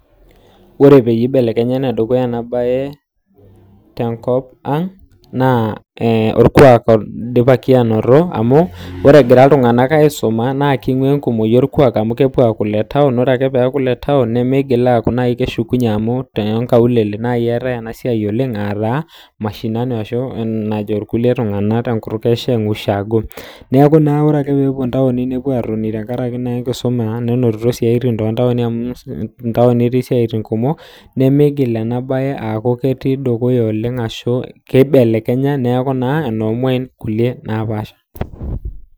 Ore peyie ibelekenya enedukuya ena bae , tenkop ang naa ee orkuaak oidipaki anoto ore enagira iltungana aisuma naa naa kiguaa iltungana orkuaak amu kepuoo aaku le town ore peeku le town nemeingil keshikunye amu too nkaulele naaii eetae ena siaai oleng ataa mashinani ashu enaa enajo kulie tungana te kutuk e sheng ushagoo neeku ore ake peeku peepuo intauni nepuo tenkaraki naa enkisuma ashu tenonito isaatin too tauni amu intauni etii isiaatin kumok nemeingil ashukunye neibelekenya neeku enoo mwain kulie naapasha.